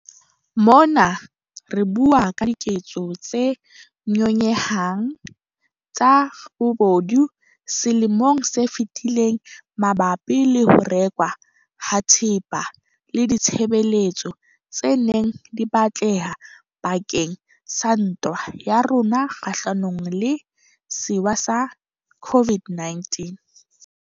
Mona re bua ka diketso tse nyonyehang tsa bobodu selemong se fetileng mabapi le ho rekwa ha thepa le ditshebeletso tse neng di batleha bake ng sa ntwa ya rona kgahlanong le sewa sa COVID-19.